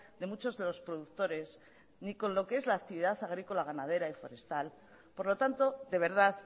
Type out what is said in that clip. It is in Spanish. de muchos de los productores ni con lo que es la actividad agrícola ganadera y forestal por lo tanto de verdad